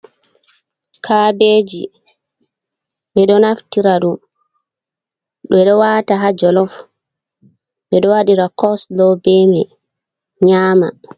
Kabeji, ɓe ɗo naftira dum ɓe ɗo wata ha jolof ɓe ɗo wadira coslo ɓe mai nyama.